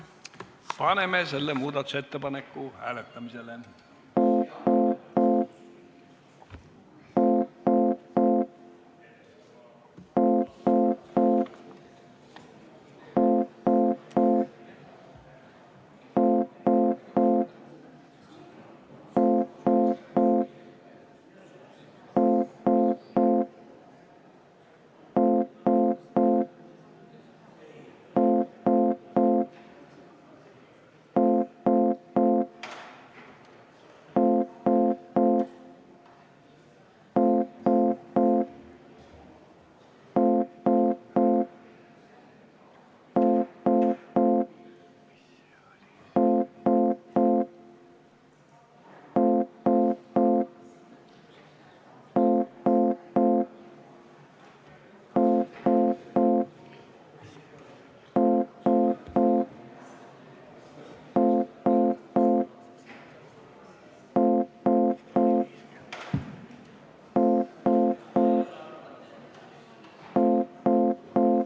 Palume seda muudatusettepanekut hääletada!